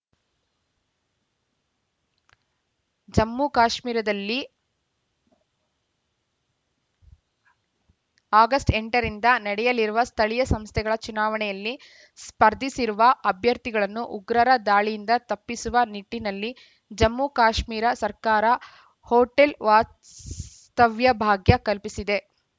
ಜಮ್ಮು ಕಾಶ್ಮೀರದಲ್ಲಿ ಆಗಸ್ಟ್ ಎಂಟರಿಂದ ನಡೆಯಲಿರುವ ಸ್ಥಳೀಯ ಸಂಸ್ಥೆಗಳ ಚುನಾವಣೆಯಲ್ಲಿ ಸ್ಪರ್ಧಿಸಿರುವ ಅಭ್ಯರ್ಥಿಗಳನ್ನು ಉಗ್ರರ ದಾಳಿಯಿಂದ ತಪ್ಪಿಸುವ ನಿಟ್ಟಿನಲ್ಲಿ ಜಮ್ಮು ಕಾಶ್ಮೀರ ಸರ್ಕಾರ ಹೋಟೆಲ್‌ ವಾಸ್ತವ್ಯ ಭಾಗ್ಯ ಕಲ್ಪಿಸಿದೆ